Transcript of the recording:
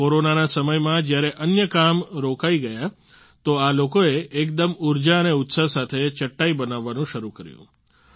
કોરોનાના સમયમાં જ્યારે અન્ય કામ રોકાઈ ગયા તો આ લોકોએ એકદમ ઉર્જા અને ઉત્સાહ સાથે ચટાઈ બનાવવાનું શરૂ કર્યું